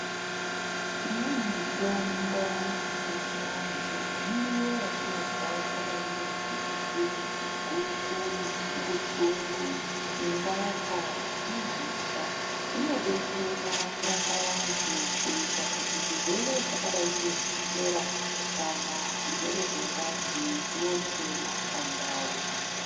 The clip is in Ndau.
Imweni mitombo yechiantu, miriwo yatinorya yakadayi ngemutikiti, guku, mutsungu-tsungu, ngaka negusha, zvinodetsera kurapa vantu, kuyita kuti zvirwere zvakadayi ngechukera kana zvirwere zvengazi zviwone kuyema pandau.